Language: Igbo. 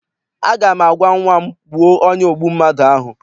Aga m agwa nnwa m, gbuo onye ogbu mmadụ ahụ!